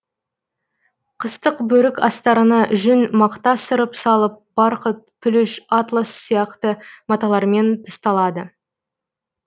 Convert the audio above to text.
қыстық бөрік астарына жүн мақта сырып салып барқыт пүліш атлас сияқты маталармен тысталады